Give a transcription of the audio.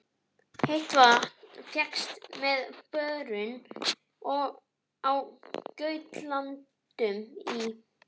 Heitt vatn fékkst með borun á Gautlöndum í